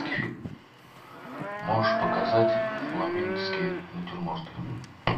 можешь показать фламандские натюрморты